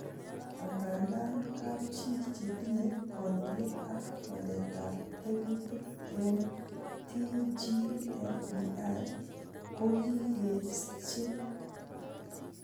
Angandan, kapchi chetinye kondiet ak waletab tekutik en TGFBI kokikeschin.